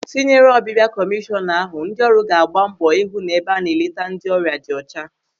Tinyere ọbịbịa kọmishọna ahụ, ndị ọrụ ga-agba mbọ ịhụ na ebe a na-eleta ndị ọrịa dị ọcha.